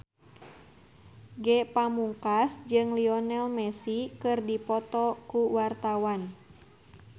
Ge Pamungkas jeung Lionel Messi keur dipoto ku wartawan